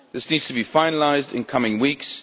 This needs to be finalised in the coming weeks.